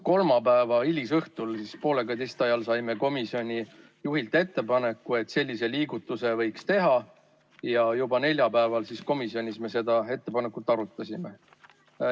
Kolmapäeva hilisõhtul poole kaheteistkümne ajal saime komisjoni juhilt ettepaneku, et sellise liigutuse võiks teha, ja juba neljapäeval komisjonis me seda ettepanekut arutasime.